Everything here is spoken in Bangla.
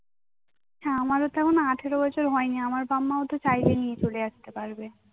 তো আমার ও তো এখনো আঠেরোবছর হয়নি আমার বাপ্ মাও তো চাইলে নিয়ে চলে আস্তে পারবে